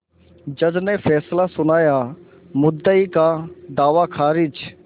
जज ने फैसला सुनायामुद्दई का दावा खारिज